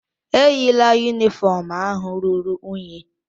Eyila yunifọọm ahụ ruru unyi.